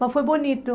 Mas foi bonito.